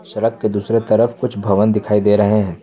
सड़क के दूसरे तरफ कुछ भवन दिखाई दे रहे हैं।